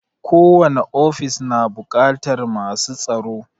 Ko wani ofis na buƙatar masu tsaro